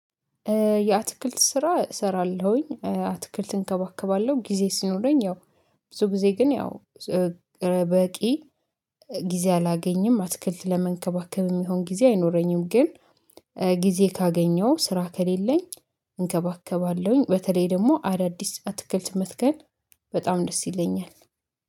የአትክልት ስራ እሰራለሁኝ አትክልት እንከባከባለሁ ጊዜ ሲኖረኝ ያው ብዙ ጊዜ ግን ያው በቂ ጊዜ አላገኝም አትክልት ለመንከባከብ የሚሆን ጊዜ አይኖረኝም። ግን ጊዜ ካገኘሁ ስራ ከሌለኝ እንከባከባለሁኝ። በተለይ ደግሞ አዳዲስ አትክልት መትከል በጣም ደስ ይለኛል